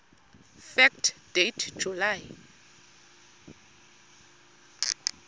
fact date july